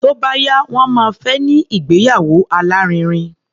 Tó bá yá, wọ́n máa fẹ́ ní ìgbéyàwó alárinrin.